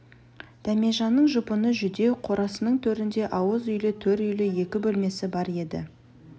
дәмежанның жұпыны жүдеу қорасының төрінде ауыз үйлі төр үйлі екі бөлмесі бар еді